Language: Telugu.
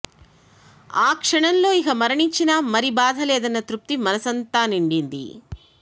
ఆ క్షణంలో ఇక మరణించినా మరి బాధ లేదన్న తృప్తి మనసంతా నిండింది